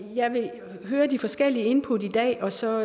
jeg vil høre de forskellige input i dag og så